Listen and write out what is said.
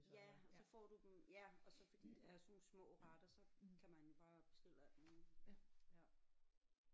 Ja så får du dem ja og så fordi det er sådan nogle små retter så kan man bare bestille alt muligt ja